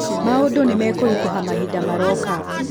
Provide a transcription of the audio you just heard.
maũndũ nĩmakũrĩtũha mahĩnda maroka